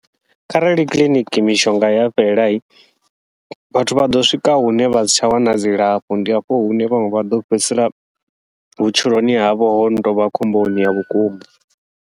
Kharali kiḽiniki mishonga ya fhela, vhathu vha ḓo swika hune vha si tsha wana dzilafho ndi hafho hune vhaṅwe vha ḓo fhedzisela vhutshiloni havho hono tovha khomboni ya vhukuma.